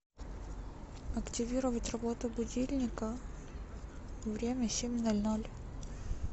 активировать работу будильника время семь ноль ноль